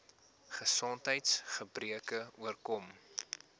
gesondheids gebreke oorkom